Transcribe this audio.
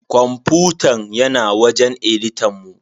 Kwamfutan yana wajen editan mu.